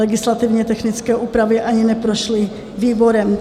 Legislativně technické úpravy ani neprošly výborem.